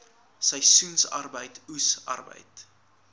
seisoensarbeid oes arbeid